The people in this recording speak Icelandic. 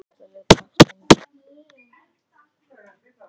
Hugdís, ferð þú með okkur á fimmtudaginn?